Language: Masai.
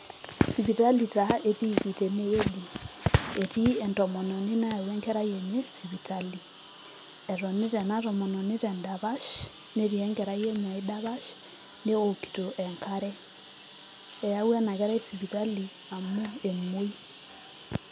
sipitali taa etiiki tenewueji etii entomononi nayawua enkerai enye sipitali etonita ena tomononi tendapash netii enkera enye ae dapash newokito enkare eyawua ena kerai sipitali amu emuoi.